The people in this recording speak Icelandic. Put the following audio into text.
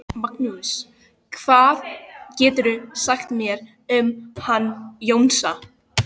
Magnús: Hvað geturðu sagt mér um hann Jónsa?